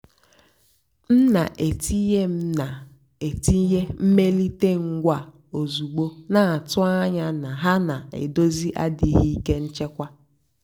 m nà-ètìnyé m nà-ètìnyé mmèlíté ngwá ózùgbó nà-àtụ́ ányá nà hà nà-èdózì àdìghị́ íké nchèkwà.